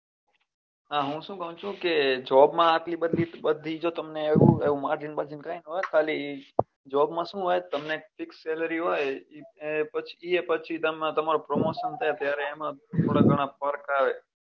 હા હું શું કઉં છું કે job માં આટલી બધી જો બધી એવું margin વાર્જીન કઈ નાં હોય ખાલી job માં શું હોય તમને fix salary હોય એ એ પછી તમારું promotion થાય ત્યારે એમાં થોડા ગણા ફર્ક આવે